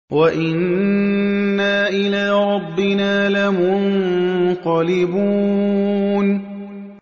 وَإِنَّا إِلَىٰ رَبِّنَا لَمُنقَلِبُونَ